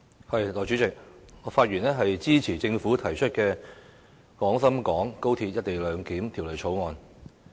代理主席，我發言支持政府提出的《廣深港高鐵條例草案》。